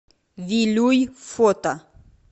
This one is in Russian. вилюй фото